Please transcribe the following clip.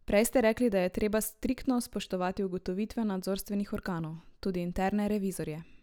Prej ste rekli, da je treba striktno spoštovati ugotovitve nadzorstvenih organov, tudi interne revizorje.